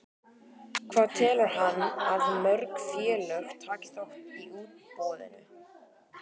Hvað telur hann að mörg félög taki þátt í útboðinu?